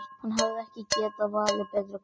Hann hefði ekki getað valið betra kvöld.